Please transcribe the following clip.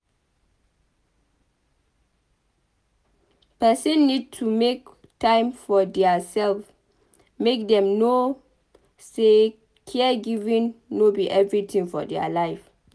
Person need to make time for their self make dem know sey caregiving no be everything for their life